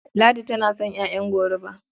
Ladi tana son ƴaƴan goruba.